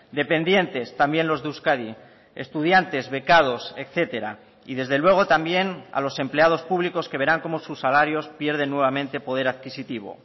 dependientes también los de euskadi estudiantes becados etcétera y desde luego también a los empleados públicos que verán cómo sus salarios pierden nuevamente poder adquisitivo